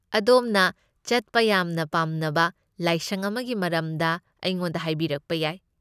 ꯑꯗꯣꯝꯅ ꯆꯠꯄ ꯌꯥꯝꯅ ꯄꯥꯝꯅꯕ ꯂꯥꯏꯁꯪ ꯑꯃꯒꯤ ꯃꯔꯝꯗ ꯑꯩꯉꯣꯟꯗ ꯍꯥꯏꯕꯤꯔꯛꯄ ꯌꯥꯏ꯫